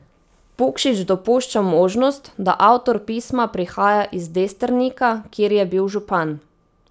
Pukšič dopušča možnost, da avtor pisma prihaja iz Destrnika, kjer je bil župan.